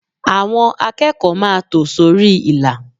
Àwọn akẹ́kọ̀ọ́ máa tò sórí ìlà.